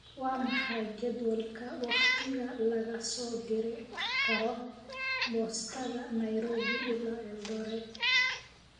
waa maxay jadwalka wakhtiga laga soo diri karo boostada nairobi ilaa eldoret